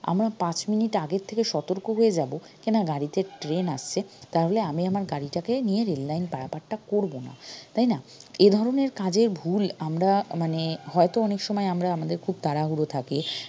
আমরা পাঁচ minute আগের থেকে সতর্ক হয়ে যাবো গাড়িতে train আসছে তাহলে আমি আমার গাড়িটাকে নিয়ে rail line পারাপারটা করবো না তাইনা এধরণের কাজে ভুল আমরা মানে হয়তো অনেক সময় আমরা আমাদের খুব তাড়াহুড়ো থাকে